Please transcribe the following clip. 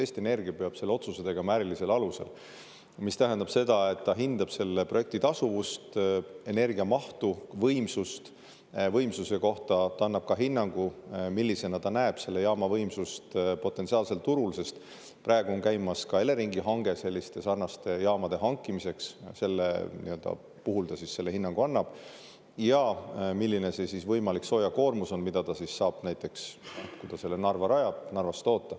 Eesti Energia peab selle otsuse tegema ärilisel alusel, mis tähendab seda, et ta hindab selle projekti tasuvust, energia mahtu, võimsust – võimsuse kohta ta annab ka hinnangu, millisena ta näeb selle jaama võimsust potentsiaalsel turul, sest praegu on käimas ka Eleringi hange sarnaste jaamade hankimiseks, selle kohta ta selle hinnangu annab – ja milline see võimalik soojakoormus on, mida ta saab, näiteks kui ta selle Narva rajab, Narvas toota.